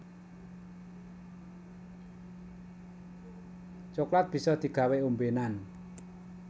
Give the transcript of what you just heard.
Coklat bisa digawé ombénan